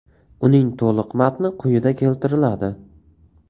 Uning to‘liq matni quyida keltiriladi.